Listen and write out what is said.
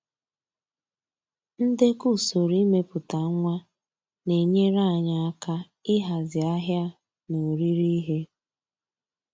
Ndekọ usoro imepụta nwa na-enyere anyị aka ịhazi ahịa na oriri ihe